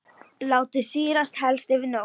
Látið sýrast helst yfir nótt.